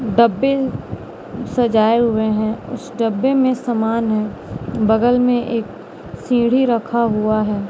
डब्बे सजाए हुए हैं उस डब्बे में समान है बगल में एक सीढ़ी रखा हुआ है।